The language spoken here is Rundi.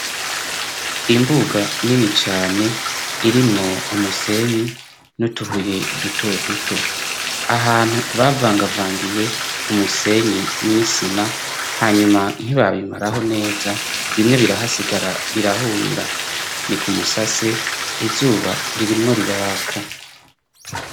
Imbuga nini cane irimwo umusenyi n'utuhuye duto duto. Ahantu bavangavangiye umusenyi n'isima hanyuma ntibabimaraho neza, bimwe birahasigara birahunira. Ni ku musase izuba ririmwo riraraka.